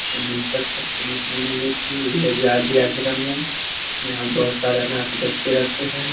उन्नीस सौ छप्पन में लगा दिया आश्रम में यहाँ बहुत सारे अनाथ बच्चे रहते हैं ।